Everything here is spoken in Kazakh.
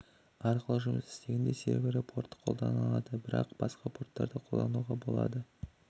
арқылы жұмыс істегенде сервері порт қол-данады бірақ басқа порттарды қолдануға да болады